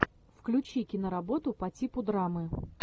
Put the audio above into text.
включи киноработу по типу драмы